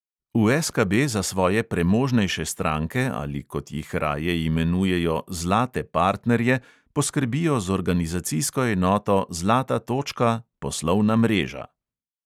V SKB za svoje premožnejše stranke ali, kot jih raje imenujejo, zlate partnerje poskrbijo z organizacijsko enoto zlata točka – poslovna mreža.